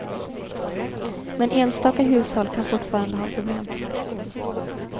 Men enstaka hushåll kan fortfarande ha problem.